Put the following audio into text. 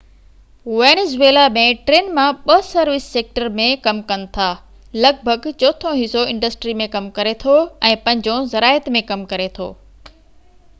Venezuela ۾ ٽن مان ٻہ سروس سيڪٽر ۾ ڪم ڪن ٿا لڳ ڀڳ چوٿون حصو انڊسٽري ۾ ڪم ڪري ٿو ۽ پنجون زراعت ۾ ڪم ڪري ٿو